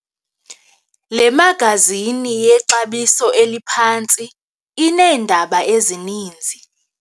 Le magazini yexabiso eliphantsi ineendaba ezininzi.